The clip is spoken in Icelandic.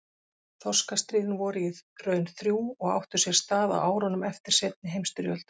Þorskastríðin voru í raun þrjú og áttu sér stað á árunum eftir seinni heimsstyrjöld.